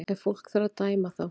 Ef fólk þarf að dæma þá